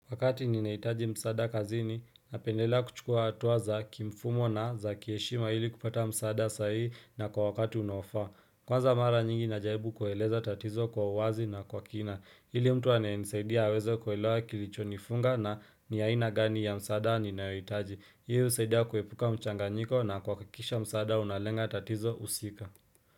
Wakati ninaitaji msada kazini, na pendela kuchukua atuaza kimfumo na za kieshima hili kupata msada sahi na kwa wakati unofa. Kwanza mara nyingi najaibu kueleza tatizo kwa uwazi na kwa kina. Hili mtu aneisaidia wezo kuelewa kilicho nifunga na niyaina gani ya msada ninaitaji. Hii usaidia kuepuka mchanganyiko na kwa kakisha msada unalenga tatizo usika.